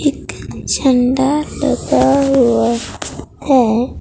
एक झण्डा लगा हुआ है।